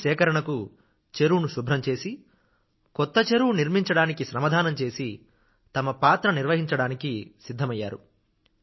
నీటి సేకరణకు చెరువును శుభ్రం చేసి కొత్త చెరువు నిర్మించడానికి శ్రమదానం చేసి తమ పాత్ర నిర్వహించడానికి సిద్ధమైనారు